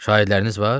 Şahidləriniz var?